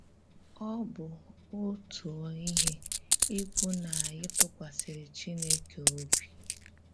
Ọ bụ́ ọ̀tụ́ọ̀ íhè íkwù na anyị tụ̀kwàsìrì Chìnékè òbì.